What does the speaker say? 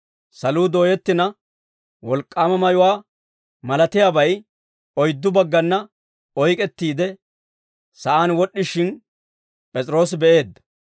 Saluu dooyettina, wolk'k'aama mayuwaa malatiyaabay oyddu baggana oyk'ettiide, sa'aan wod'd'ishin, P'es'iroosi be'eedda.